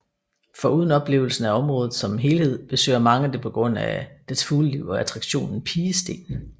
Foruden oplevelsen af området som helhed besøger mange det på grund af dets fugleliv og attraktionen Pigestenen